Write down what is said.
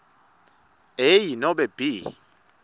a nobe b